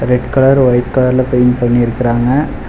Red colour white கலர்ல paint பண்ணிருக்குறாங்க.